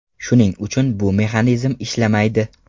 Shuning uchun bu mexanizm ishlamaydi.